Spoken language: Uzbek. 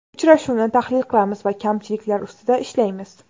Uchrashuvni tahlil qilamiz va kamchiliklar ustida ishlaymiz.